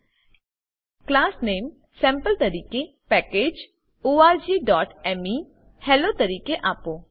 class નામે class name sample તરીકે અને પેકેજ પેકેજ orgmeહેલ્લો તરીકે આપો